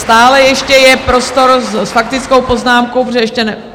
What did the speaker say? Stále ještě je prostor s faktickou poznámkou, protože ještě...